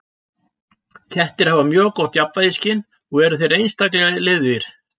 Kettir hafa mjög gott jafnvægisskyn og eru einstaklega liðugir.